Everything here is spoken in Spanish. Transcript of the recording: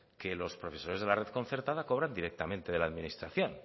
que los profesores de la red concertada cobran directamente de la administración